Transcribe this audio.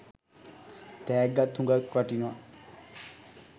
තෑග්ගත් හුගක් වටිනවා.